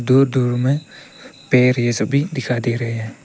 दूर दूर में पेड़ यह सब भी दिखाई दे रहे हैं।